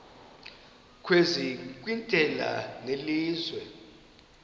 kwezi nkqwithela zelizwe